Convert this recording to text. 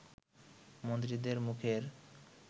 মন্ত্রীদের মুখের